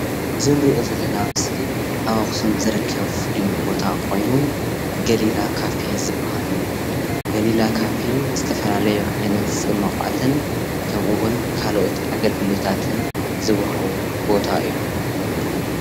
እዚ ንሪኦ ዘለና ምስሊ እዚ ኣብ ኣክሱም ዝርከብ ፍሉይ ቦታ ኮይኑ ገሊላ ዝባሃል ካፌ ዝባሃል እዩ፡፡ ገሊላ ካፌ ዝተፈላለየ ዓይነት ፅሟቋትን ከምኡ እዉን ካልኦት ኣገልግሎታትን ዝወሃቦ ቦታ እዩ፡፡